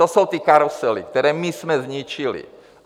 To jsou ty karusely, které my jsme zničili.